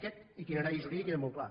aquest itinerari jurídic era molt clar